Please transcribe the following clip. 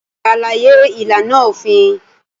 Ṣàlàyé ìlànà òfin